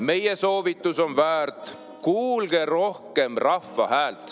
Meie soovitus on väärt: kuulge rohkem rahva häält.